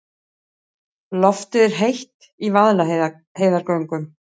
Loftið er heitt í Vaðlaheiðargöngum.